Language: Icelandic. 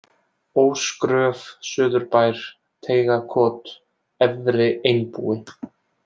Ósgröf, Suðurbær, Teigakot, Efri-Einbúi